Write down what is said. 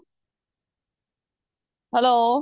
hello